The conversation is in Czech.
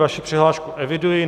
Vaši přihlášku eviduji.